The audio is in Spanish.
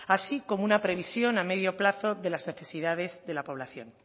así como una previsión a medio plazo de las necesidades de la población